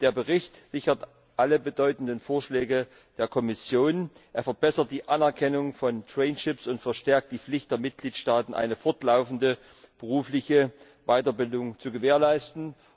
Der Bericht sichert alle bedeutenden Vorschläge der Kommission, er verbessert die Anerkennung von und verstärkt die Pflicht der Mitgliedstaaten, eine fortlaufende berufliche Weiterbildung zu gewährleisten.